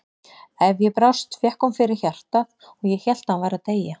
Ef ég brást fékk hún fyrir hjartað og ég hélt að hún væri að deyja.